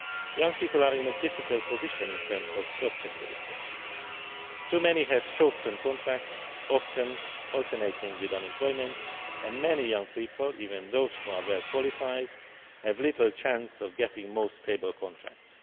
Young people are in a difficult position in terms of job security. Too many have short term contracts, often alternating with unemployment, and many young people even those who are well qualified have little chance of getting more stable contracts.